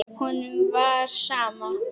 Honum var sama.